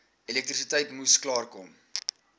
elektrisiteit moes klaarkom